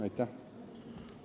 Aitäh!